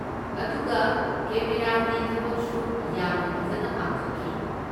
ꯑꯗꯨꯒ ꯀꯦꯃꯦꯔꯥꯒꯤ ꯊꯕꯛꯁꯨ ꯌꯥꯝꯅ ꯐꯖꯅ ꯄꯥꯡꯊꯣꯛꯈꯤ꯫